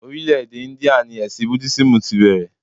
Orílè-èdè India ni ẹ̀sìn Budísímù tí bẹ̀rẹ̀